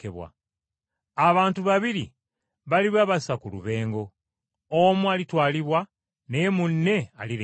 Abantu babiri baliba basa ku lubengo, omu alitwalibwa naye munne alirekebwa.